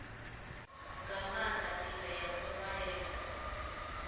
nga maanda ndila ya kunwalele